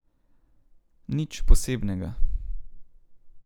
Nič posebnega.